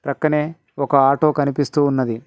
పక్కనే ఒక ఆటో కనిపిస్తూ ఉన్నది.